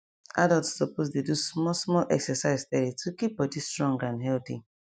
adults suppose dey do small small exercise steady to keep body strong and healthy